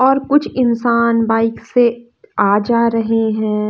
और कुछ इंसान बाइक से आ जा रहे हैं।